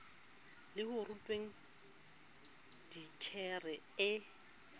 le ho rutweng titjhere e